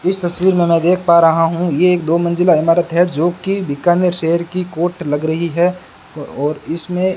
इस तस्वीर मै देख पा रहा हूं ये एक दो मंजिला इमारत है जो की बीकानेर शहर की कोर्ट लग रही है और इसमें--